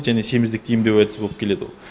және семіздікті емдеу әдісі болып келеді ол